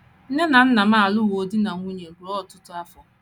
Nne na nna m alụwo di na nwunye ruo ọtụtụ.